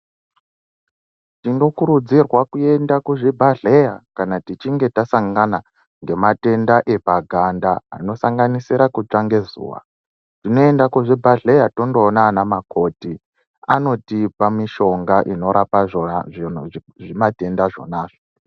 Tinokurudzirwa kuenda kuzvibhehleya kana tichinge tasangana ngematenda anosanganisira epaganda anosanganisira kutsva ngezuwa. Tinoenda kuzvibhehleya tonoona ana makoti. Anotipa mishonga inorapa zvimatenda zvona izvozvo